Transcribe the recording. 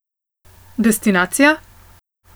Destinacija?